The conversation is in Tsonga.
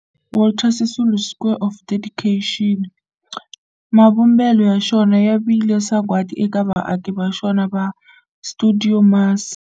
Walter Sisulu Square of Dedication, mavumbelo ya xona ya vile sagwadi eka vaaki va xona va stuidio MAS.